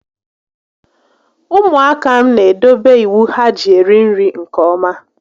Ụmụaka m n'edobe iwu ha ji eri nri nke ọma